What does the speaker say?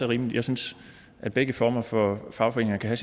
rimeligt jeg synes at begge former for fagforeninger kan